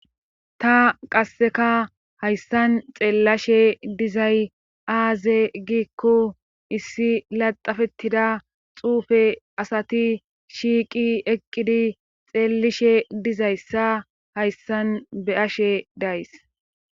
ta qasseka hayssan xeellashe dizay aaze gikko issi laxafettida xuufe asati shiiqi eqqidi xeellishe dizayssa hayssan be ashe days